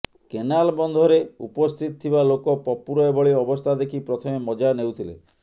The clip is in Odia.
କେନାଲ ବନ୍ଧରେ ଉପସ୍ଥିତ ଥିବା ଲୋକ ପପୁର ଏଭଳି ଅବସ୍ଥା ଦେଖି ପ୍ରଥମେ ମଜା ନେଉଥିଲେ